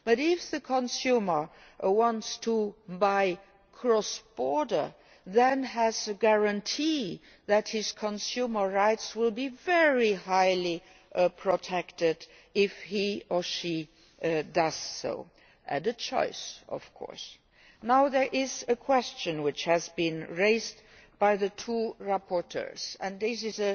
But if the consumer wants to buy cross border then he has a guarantee that his consumer rights will be very highly protected if he does so as a choice, of course. There is a question which has been raised by the two rapporteurs, and this